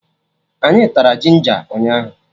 Anyị tara jinja ụnyaahụ